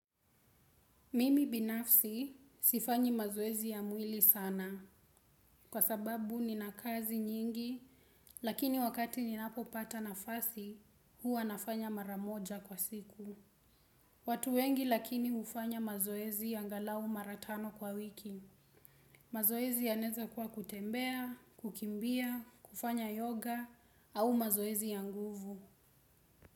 Mimi binafsi sifanyi mazoezi ya mwili sana kwa sababu nina kazi nyingi lakini wakati ninapopata nafasi huwa nafanya maramoja kwa siku. Watu wengi lakini hufanya mazoezi angalau mara tano kwa wiki. Mazoezi yanaeza kuwa kutembea, kukimbia, kufanya yoga au mazoezi ya nguvu.